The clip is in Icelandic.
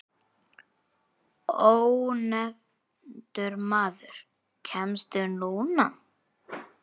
Ónefndur maður: Kemstu núna?